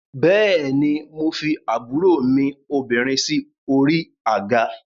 Bẹ́ẹ̀ ni, mo fi àbúrò mi obìnrin sí orí àga